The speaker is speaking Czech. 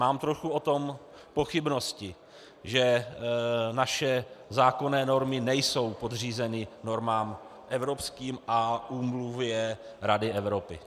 Mám trochu o tom pochybnosti, že naše zákonné normy nejsou podřízeny normám evropským a úmluvě Rady Evropy.